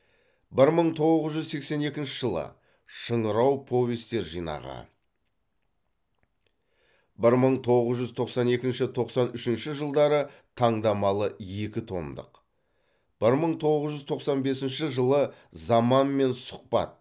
бір мың тоғыз жүз сексен екінші жылы шыңырау повестер жинағы бір мың тоғыз жүз тосан екінші тоқсан үшінші жылдары таңдамалы екі томдық бір мың тоғыз жүз тоқсан бесінші жылы заманмен сұхбат